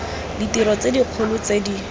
ditiro tse dikgolo tse di